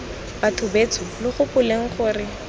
batho betsho lo gopoleng gore